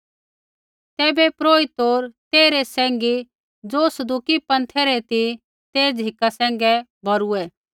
तैबै महापुरोहित होर तेइरै सैंघी ज़ो सदूकी पँथै रै ती ते झ़िका सैंघै भौरूऐ